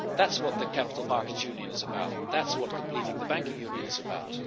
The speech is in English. That is what the Capital Markets Union is about, that is what completing the Banking Union is about.